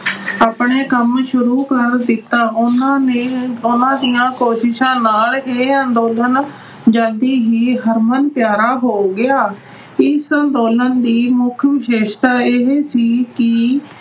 ਆਪਣਾ ਕੰਮ ਸ਼ੁਰੂ ਕਰ ਦਿੱਤਾ। ਉਹਨਾਂ ਨੇ ਅਹ ਉਹਨਾਂ ਦੀਆਂ ਕੋਸ਼ਿਸ਼ਾਂ ਨਾਲ ਇਹ ਅੰਦੋਲਨ ਜਲਦੀ ਹੀ ਹਰਮਨ ਪਿਆਰਾ ਹੋ ਗਿਆ। ਇਸ ਅੰਦੋਲਨ ਦੀ ਮੁੱਖ ਵਿਸ਼ੇਸ਼ਤਾ ਇਹ ਸੀ ਕਿ